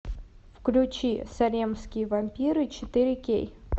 включи салемские вампиры четыре кей